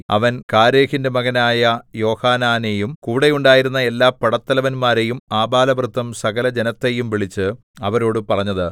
അവൻ കാരേഹിന്റെ മകനായ യോഹാനാനെയും കൂടെ ഉണ്ടായിരുന്ന എല്ലാ പടത്തലവന്മാരെയും ആബാലവൃദ്ധം സകലജനത്തെയും വിളിച്ച് അവരോടു പറഞ്ഞത്